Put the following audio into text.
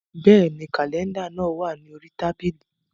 Bẹ́ẹ̀ni, kàlẹ́ndà náà wà ní orí tábìlì